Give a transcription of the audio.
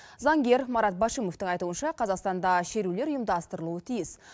заңгер марат башимовтің айтуынша қазақстанда шерулер ұйымдастырылуы тиіс